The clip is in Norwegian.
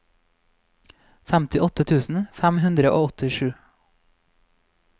femtiåtte tusen fem hundre og åttisju